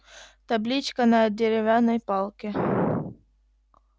табличка на деревянной палке